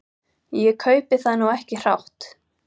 Ég kaupi það nú ekki hrátt.